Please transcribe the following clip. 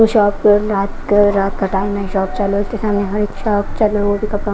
shop रात का रात का टाइम है शॉप चलो उसके सामने हर शॉप चलो --